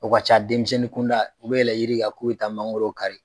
O ka ca denmisɛnnin kunda u bɛ yɛlɛ yiri kan k'u bɛ taa mangoro kari.